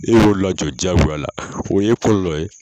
E y'o lajɔ jagoya la o ye kɔlɔlɔ ye